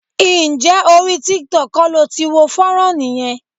Ǹjẹ́ orí tiktok kọ́ lo ti wo fọ́nrán yẹn?